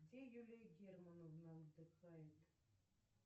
где юлия германовна отдыхает